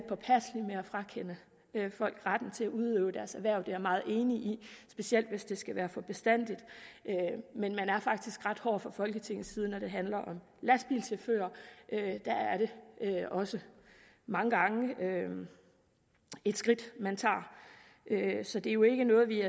frakende folk retten til at udøve deres erhverv det er jeg meget enig i specielt hvis det skal være for bestandig men man er faktisk ret hård fra folketingets side når det handler om lastbilchauffører der er det også mange gange et skridt man tager så det er jo ikke noget vi